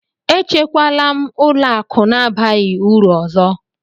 Echekwala m ụlọ akụ na-abaghị uru ọzọ!